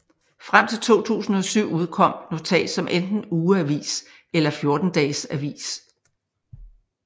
Frem til 2007 udkom NOTAT som enten ugeavis eller 14 dages avis